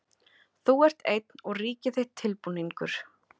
Þú ert einn og ríki þitt tilbúningur.